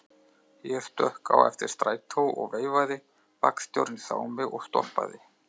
Ég stökk á eftir strætó og veifaði, vagnstjórinn sá mig og stoppaði.